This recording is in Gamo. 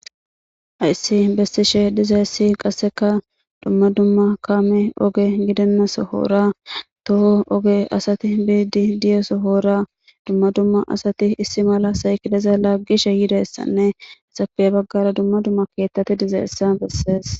Hayssi bestishe dizaessi qasseka dumma dumma kaame oge gidennaso hoora toho oge asati biidi diyeso hoora dumma dumma asati issi mala saykileza laaggishe yidessanne esappe baggara dumma dumma keettati dizaessa bessees.